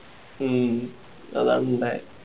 ഉം അതങ്ങനെ